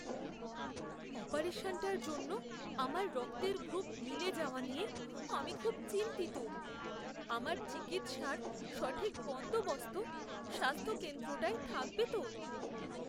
অপারেশনটার জন্য আমার রক্তের গ্রুপ মিলে যাওয়া নিয়ে আমি খুব চিন্তিত। আমার চিকিৎসার সঠিক বন্দোবস্ত স্বাস্থ্যকেন্দ্রটায় থাকবে তো?